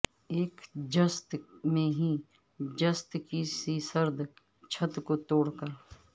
ایک جست میں ہی جست کی سی سرد چھت کو توڑ کر